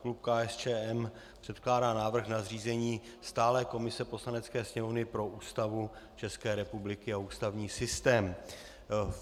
Klub KSČM předkládá návrh na zřízení stálé komise Poslanecké sněmovny pro Ústavu České republiky a ústavní systém.